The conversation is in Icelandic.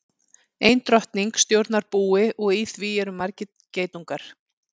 Ein drottning stjórnar búi og í því eru margir geitungar.